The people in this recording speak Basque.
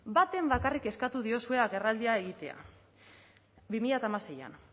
baten bakarrik eskatu diozue agerraldia egitea bi mila hamaseian